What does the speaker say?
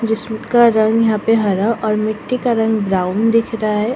जिसका रंग यहां पे हरा और मिट्टी का रंग ब्राउन दिख रहा है।